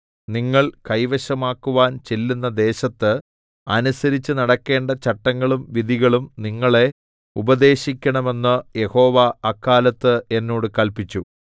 നിങ്ങൾ കൈവശമാക്കുവാൻ ചെല്ലുന്ന ദേശത്ത് അനുസരിച്ച് നടക്കേണ്ട ചട്ടങ്ങളും വിധികളും നിങ്ങളെ ഉപദേശിക്കണമെന്ന് യഹോവ അക്കാലത്ത് എന്നോട് കല്പിച്ചു